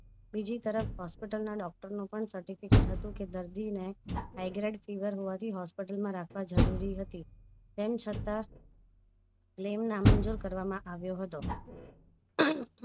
બીજી તરફ hospital ના doctor નું પણ certificate કે દર્દી ને high grade fever હોવાથી hospital માં રાખવા જરૂરી હતી તેમ છતાં claim નામંજુર કરવામાં આવ્યો હતો